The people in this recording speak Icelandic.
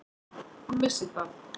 Hún vissi það.